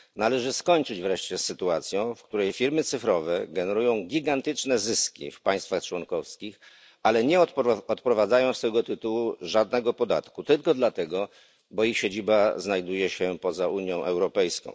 Należy skończyć wreszcie z sytuacją, w której firmy cyfrowe generują gigantyczne zyski w państwach członkowskich, ale nie odprowadzają z tego tytułu żadnego podatku tylko dlatego, że ich siedziba znajduje się poza Unią Europejską.